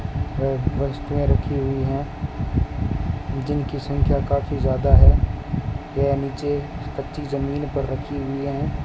और वस्तुऐ रखी हुई हैं जिनकी संख्या काफी ज्यादा है यह नीचे कच्ची जमीन पर रखी हुई हैं।